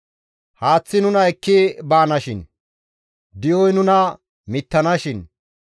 Haaththi nuna ekki baanashin; di7oy nuna mittanashin.